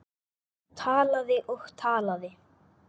Talaði og talaði.